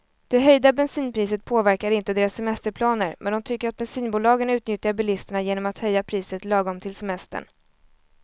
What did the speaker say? Det höjda bensinpriset påverkar inte deras semesterplaner, men de tycker att bensinbolagen utnyttjar bilisterna genom att höja priset lagom till semestern.